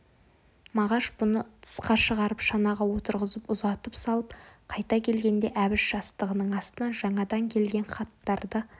мағаш бұны тысқа шығарып шанаға отырғызып ұзатып салып қайта келгенде әбіш жастығының астынан жаңадан келген хаттарды